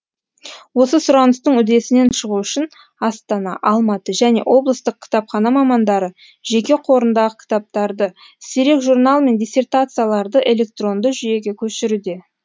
осы сұраныстың үдесінен шығу үшін астана алматы және облыстық кітапхана мамандары жеке қорындағы кітаптарды сирек журнал мен диссертацияларды электронды жүйеге көшіруде